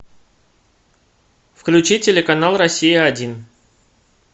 включи телеканал россия один